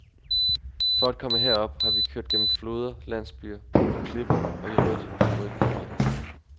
For at komme herop har vi kørt gennem floder, landsbyer, på klipper og i rødt, rødt mudder.